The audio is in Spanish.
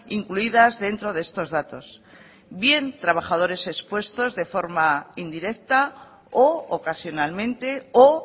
incluidas dentro de estos datos bien trabajadores expuestos de forma indirecta o ocasionalmente o